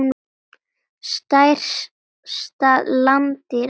Stærsta landdýr allra tíma.